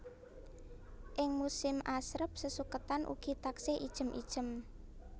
Ing musim asrep sesuketan ugi taksih ijem ijem